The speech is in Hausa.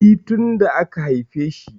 E, tin da aka haifeshi.